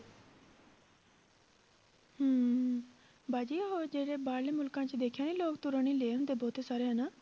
ਹਮ ਬਾਜੀ ਹੋਰ ਜਿਹੜੇ ਬਾਹਰਲੇ ਮੁਲਕਾਂ 'ਚ ਦੇਖਿਆ ਨੀ ਲੋਕ ਤੁਰਨ ਹੀ ਰਹੇ ਹੁੰਦੇ ਬਹੁਤੇ ਸਾਰੇ ਹਨਾ।